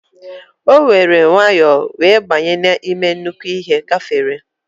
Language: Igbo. O were nwayo wee banye n'ime nnukwu ihe gafere.